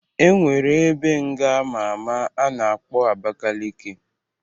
E nwere ebe nga ama ama a na-akpọ Abakaleke